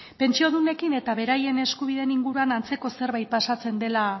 pentsiodunekin eta beraien eskubideen inguruan antzeko zerbait pasatzen dela